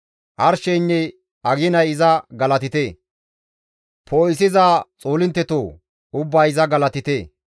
Arsheynne aginay iza galatite; poo7isiza xoolinttetoo! Ubbay iza galatite.